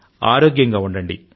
ఆరోగ్యంగా ఉండండి